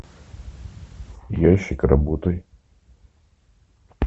ящик работай